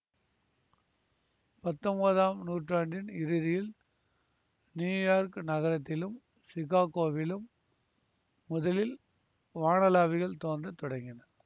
பத்தொன்பதாம் நூற்றாண்டின் இறுதியில் நியூயார்க் நகரத்திலும் சிகாகோவிலும் முதலில் வானளாவிகள் தோன்றத் தொடங்கின